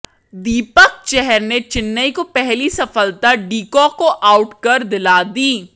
दीपक चहर ने चेन्नई को पहली सफलता डी कॉक को आउट कर दिला दी